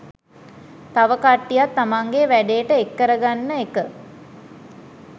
තව කට්ටියක් තමන්ගෙ වැඩේට එක් කරගන්න එක